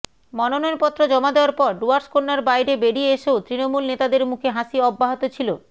মনোনয়ন পত্র জমা দেওয়ার পর ডুয়ার্সকন্যার বাইরে বেরিয়ে এসেও তৃণমূল নেতাদের মুখে হাসি অব্যাহত ছিল